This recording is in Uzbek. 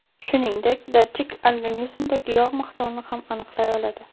Shuningdek, datchik organizmdagi yog‘ miqdorini ham aniqlay oladi.